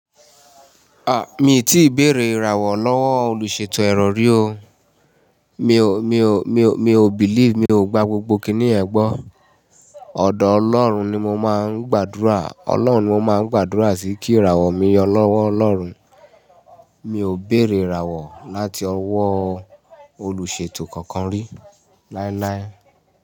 Ah, mi ò tíì béèrè ìràwọ̀ lọ́wọ́ olùṣètò ẹ̀rọ rí o. Mi ò, mi ò, mi ò, mi ò believe, mi ò gba gbogbo kíní ẹ̀gbọ́n. Oọ̀dọ̀ Ọlọ́run ni mo máa ń gbàdúrà. Ọlọ́run ni mo máa ń gbàdúrà sí kí ìràwọ̀ mi yọ lọ́wọ́ Ọlọ́run. Mi ò béèrè ìràwọ̀ láti ọwọ́ olùṣètò kankan rí láíláí.